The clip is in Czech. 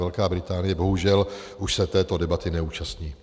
Velká Británie bohužel už se této debaty neúčastní.